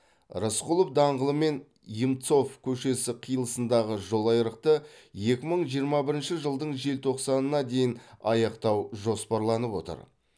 рысқұлов даңғылы мен емцов көшесі қиылысындағы жолайрықты екі мың жиырма бірінші жылдың желтоқсанына дейін аяқтау жоспарланып отыр